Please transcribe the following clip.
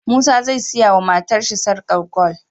Musa zai siya wa matar shi sarƙar gwal